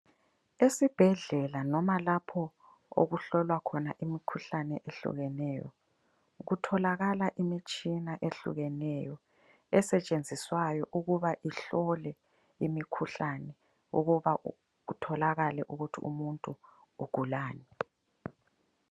Esibhedlela noma lapho okuhlolwa khona imikhuhlane eyehlukeneyo kutholakala imitshina ehlukeneyo esetshenziswayo ukuba kuhlolwe imikhuhlane ukuba kutholakale ukuthi umuntu ugulani.